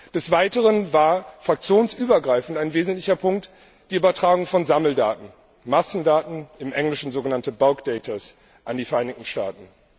Des Weiteren war fraktionsübergreifend ein wesentlicher Punkt die Übertragung von Sammeldaten, Massendaten, im Englischen so genannte bulk data, an die Vereinigten Staaten.